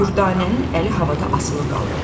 Dürdanənin əli havada asılı qaldı.